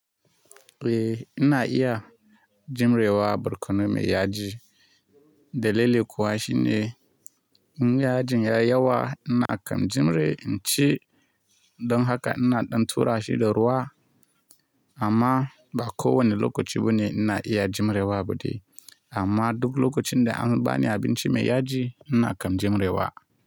Eh, ina iya jimre wa barkono mai yaji. Dalili kuwa shi ne, in yajin ya yi yawa ina kan jimre in ci don haka ina ɗan tura shi da ruwa. Amma ba kowane lokaci bane ina iya jimre wa ba dai. Amma duk lokacin da an bani abinci mai yaji ina kan jimre wa.